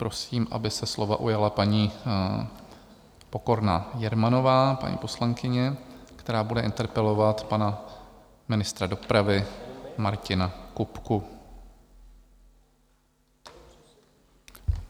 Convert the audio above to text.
Prosím, aby se slova ujala paní Pokorná Jermanová, paní poslankyně, která bude interpelovat pana ministra dopravy Martina Kupku.